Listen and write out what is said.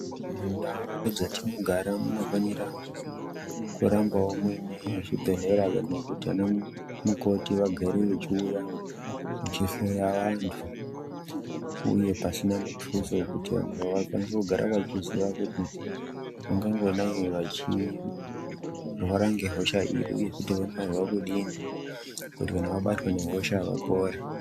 Mundawo dzatinogara munofanira kurambawo muine chibhedlera ngekuti ana mukoti vagare vechiwuya vechihloya vantu, huye pasina mututso wekuti vantu vakwanisa kugara vechiziva kuti ungangodai vachirwara ngehosha iyi huye kuti vanofana kudii kuti kana vabatwa nehosha vapore.